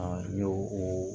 A y'o o